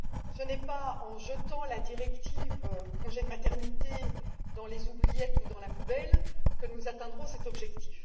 Ce n'est pas en jetant la directive congé de maternité aux oubliettes ou dans la poubelle que nous atteindrons cet objectif.